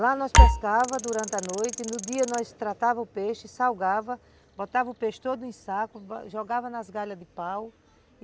Lá nós pescávamos durante a noite e no dia nós tratávamos o peixe, salgávamos, botávamos o peixe todo em saco, jogávamos nas galhas de pau.